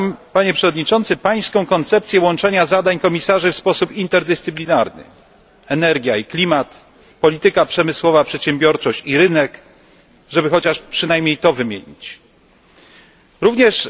Panie Przewodniczący, popieram Pańską koncepcję łączenia zadań komisarzy w sposób interdyscyplinarny energia i klimat, polityka przemysłowa, przedsiębiorczość i rynek żeby przynajmniej wymienić kilka z nich.